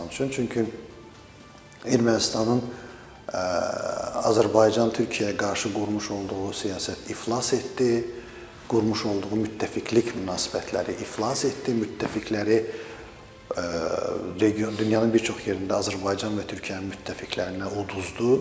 Çünki Ermənistanın Azərbaycan-Türkiyəyə qarşı qurmuş olduğu siyasət iflas etdi, qurmuş olduğu müttəfiqlik münasibətləri iflas etdi, müttəfiqləri dünyanın bir çox yerində Azərbaycan və Türkiyənin müttəfiqlərinə uduzdu.